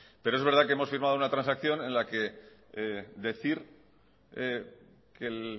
pero es verdad que hemos firmado una transacción en la que decir que el